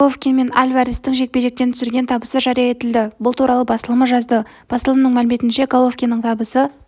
головкин мен альварестің жекпе-жектен түсірген табысы жария етілді бұл туралы басылымы жазды басылымның мәліметінше головкиннің табысы